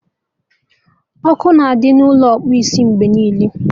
Ọkụ na-adị n'Ụlọ ịkpụ isi mgbe niile